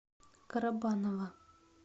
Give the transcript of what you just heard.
карабаново